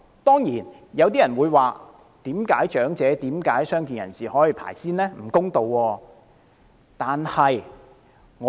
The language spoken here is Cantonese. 當然，有些人會問為何長者和傷健人士可以優先，認為這樣並不公道。